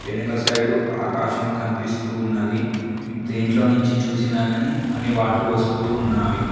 వెనక సైడు ఆకాశం కనిపిస్తూ ఉన్నది దేంట్లో నుంచి చూసినా గాని అన్ని వాటర్ వస్తూ ఉన్నావి.